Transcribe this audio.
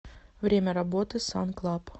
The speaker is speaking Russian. время работы сан клаб